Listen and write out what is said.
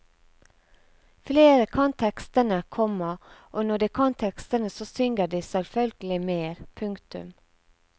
Flere kan tekstene, komma og når de kan tekstene så synger de selvfølgelig mer. punktum